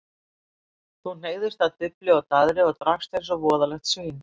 Þú hneigðist að dufli og daðri og drakkst eins og voðalegt svín.